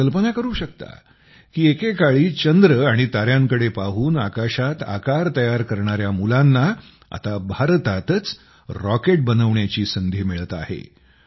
आपण कल्पना करू शकता की एकेकाळी चंद्र आणि ताऱ्यांकडे पाहून आकाशात आकार तयार करणाऱ्या मुलांना आता भारतातच क्षेपणास्त्र बनविण्याची संधी मिळत आहे